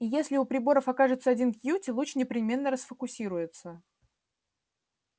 и если у приборов окажется один кьюти луч непременно расфокусируется